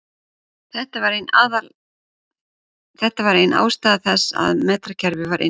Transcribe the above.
Þetta var ein ástæða þess að metrakerfið var innleitt.